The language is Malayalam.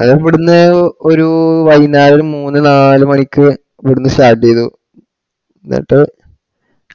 അത് ഇവിടുന്ന് ഒ ഒരു വൈന്നേരം മൂന്ന് നാല് മണിക്ക് ഇവിടുന്ന് start ചെയ്തു എന്നട്ട്